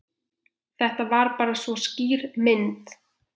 Þetta er bara svo skýr mynd.